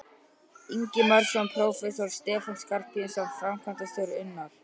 Ingimarsson prófessor, Stefán Skarphéðinsson framkvæmdastjóri, Unnar